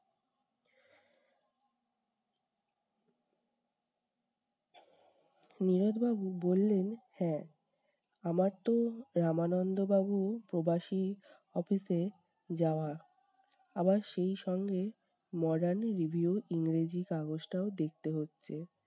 নীরদ বাবু বললেন- হ্যা আমার তো রামানন্দ বাবু প্রবাসী office এ যাওয়া। আবার সেই সঙ্গে modern review ইংরেজি কাগজটাও দেখতে হচ্ছে।